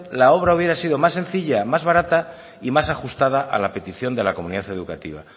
la obra hubiera sido más sencilla más barata y más ajustada a la petición de la comunidad educativa